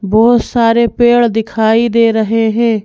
बहुत सारे पेड़ दिखाई दे रहे हैं।